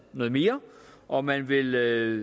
noget mere og at man vil